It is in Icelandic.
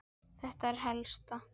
Það er það helsta.